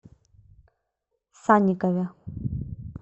санникове